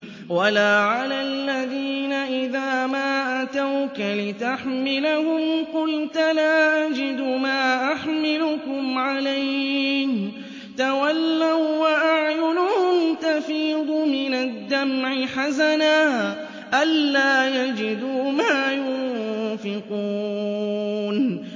وَلَا عَلَى الَّذِينَ إِذَا مَا أَتَوْكَ لِتَحْمِلَهُمْ قُلْتَ لَا أَجِدُ مَا أَحْمِلُكُمْ عَلَيْهِ تَوَلَّوا وَّأَعْيُنُهُمْ تَفِيضُ مِنَ الدَّمْعِ حَزَنًا أَلَّا يَجِدُوا مَا يُنفِقُونَ